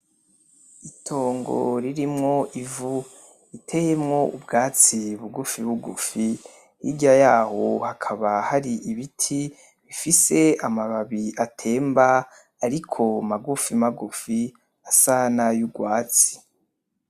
Itongo ririmwo ivu, riteyemwo ubwatsi bugufibugufi, hirya yaho hakaba hari ibiti bifise amababi atemba ariko magufimagufi asa n’ay’ugwatsi.